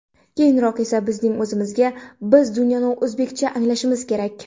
Keyinroq esa bizning o‘zimizga ‘Biz dunyoni o‘zbekcha anglashimiz kerak.